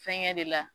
Fɛnkɛ de la